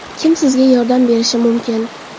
Kim sizga yordam berishi mumkin?